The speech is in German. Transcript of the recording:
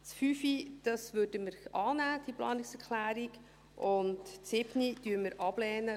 Die Planungserklärung 5 würden wir annehmen, die Planungserklärung 7 lehnen wir ab.